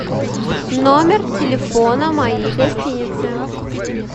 номер телефона моей гостиницы